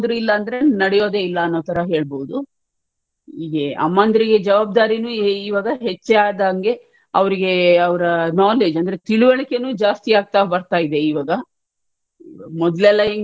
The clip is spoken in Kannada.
ಇಲ್ಲದ್ರೆ ನಡೆಯೋದಿಲ್ಲಾ ಅನ್ನೋತರ ಹೇಳ್ಬೋದು ಈಗ ಅಮ್ಮಂದಿರಿಗೆ ಜವಾಬ್ದಾರಿನು ಈವಾಗ ಹೆಚ್ಚಾದಂಗೆ ಅವರಿಗೆ ಅವರ knowledge ಅಂದ್ರೆ ತಿಳುವಳಿಕೆನು ಜಾಸ್ತಿಯಾಗ್ತಾ ಬರ್ತಾ ಇವೆ ಈವಾಗ ಮೊದ್ಲೆಲ್ಲಾ ಹೆಂಗಿದ್ರು